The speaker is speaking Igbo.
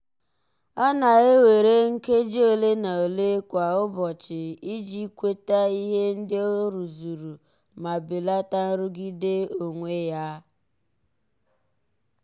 ọ na-ewere nkeji ole na ole kwa ụbọchị iji kweta ihe ndị ọ rụzuru ma belata nrụgide onwe ya.